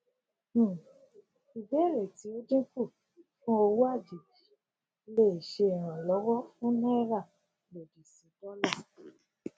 um ìbéèrè tí ó dínkù fún owó àjèjì lè ṣe ìrànlówọ fún náírà lòdì sí dọlà